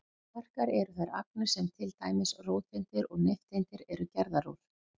Kvarkar eru þær agnir sem til dæmis róteindir og nifteindir eru gerðar úr.